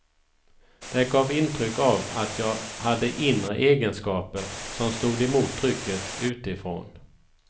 Det gav intryck av att jag hade inre egenskaper som stod emot trycket utifrån.